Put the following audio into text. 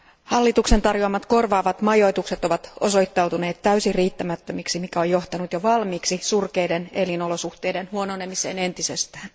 Hallituksen tarjoamat korvaavat majoitukset ovat osoittautuneet täysin riittämättömiksi, mikä on johtanut jo valmiiksi surkeiden elinolosuhteiden huononemiseen entisestään.